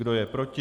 Kdo je proti?